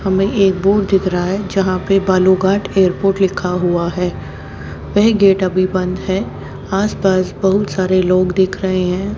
हमें एक बोर्ड दिख रहा है जहां पे बालूघाट एयरपोर्ट लिखा हुआ है वह गेट अभी बंद है आस पास बहुत सारे लोग दिख रहे हैं।